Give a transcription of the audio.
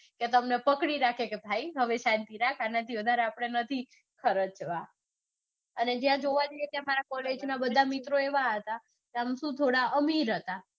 કે તમને પકડી રાખે કે ભાઈ હવે રાખ આનાથી હવે વધારે આપડે નથી ખરચવા. અને જ્યાં જોવા જઇયે ત્યાં મારા કોલેજના બધા મિત્રો આમિર હતા.